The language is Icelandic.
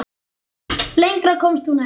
Lengra komst hún ekki.